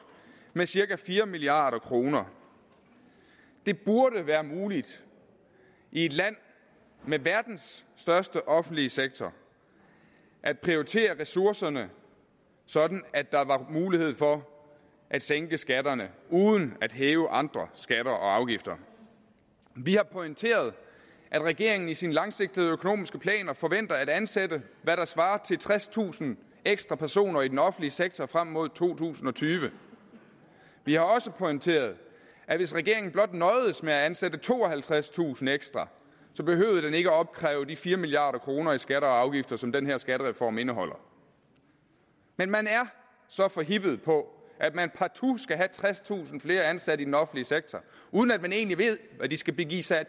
med cirka fire milliard kroner det burde være muligt i et land med verdens største offentlige sektor at prioritere ressourcerne sådan at der var mulighed for at sænke skatterne uden at hæve andre skatter og afgifter vi har pointeret at regeringen i sin langsigtede økonomiske plan forventer at ansætte hvad der svarer til tredstusind ekstra personer i den offentlige sektor frem mod to tusind og tyve vi har også pointeret at hvis regeringen blot nøjedes med at ansætte tooghalvtredstusind ekstra behøvede den ikke at opkræve de fire milliard kroner i skatter og afgifter som den her skattereform indeholder men man er så forhippet på at man partout skal have tredstusind flere ansatte i den offentlige sektor uden at man egentlig ved hvad de skal give sig af